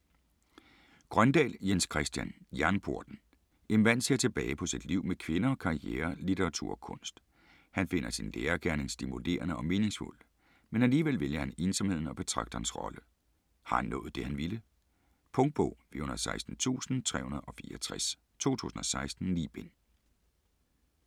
Grøndahl, Jens Christian: Jernporten En mand ser tilbage på sit liv med kvinder, karriere, litteratur og kunst. Han finder sin lærergerning stimulerende og meningsfuld, men alligevel vælger han ensomheden og betragterens rolle. Har han nået det han ville? Punktbog 416364 2016. 9 bind.